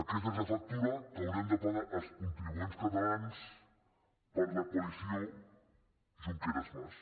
aquesta és la factura que haurem de pagar els contribuents catalans per la coalició junqueras mas